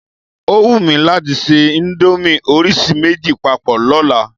O wù mí láti ṣe íńdómì orísìí méjì papọ̀ lọ́la.